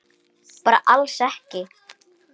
Bara alls ekki?